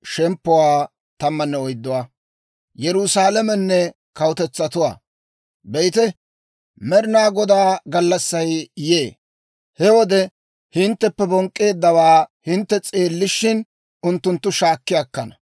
Be'ite, Med'inaa Godaa gallassay yee; he wode hintteppe bonk'k'eeddawaa hintte s'eellishin, unttunttu shaakki akkana.